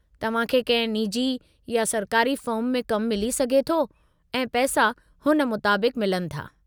तव्हां खे कंहिं निजी या सरकारी फर्म में कमु मिली सघे थो ऐं पैसा हुन मुताबिक़ु मिलनि था।